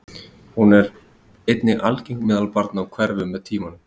Hún er einnig algeng meðal barna og hverfur með tímanum.